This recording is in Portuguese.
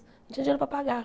Não tinha dinheiro para pagar.